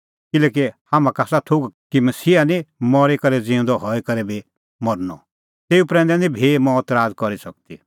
किल्हैकि हाम्हां का आसा थोघ कि मसीहा निं मरी करै ज़िऊंदअ हई करै भी मरनअ तेऊ प्रैंदै निं भी मौत राज़ करी सकदी